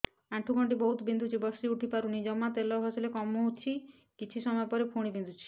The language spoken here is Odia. ଆଣ୍ଠୁଗଣ୍ଠି ବହୁତ ବିନ୍ଧୁଛି ବସିଉଠି ପାରୁନି ଜମା ତେଲ ଘଷିଲେ କମୁଛି କିଛି ସମୟ ପରେ ପୁଣି ବିନ୍ଧୁଛି